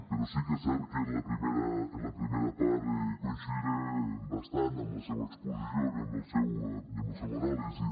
però sí que és cert que en la primera part coincidiré bastant amb la seua exposició i amb la seua anàlisi